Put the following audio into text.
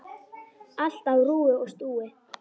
Allt á rúi og stúi.